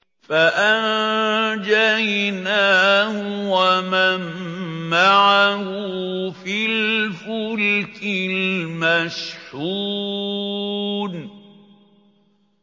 فَأَنجَيْنَاهُ وَمَن مَّعَهُ فِي الْفُلْكِ الْمَشْحُونِ